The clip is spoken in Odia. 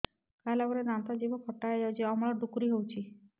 ଖାଇଲା ପରେ ଦାନ୍ତ ଜିଭ ଖଟା ହେଇଯାଉଛି ଅମ୍ଳ ଡ଼ୁକରି ହଉଛି